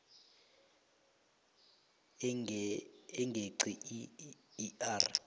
engeqi i r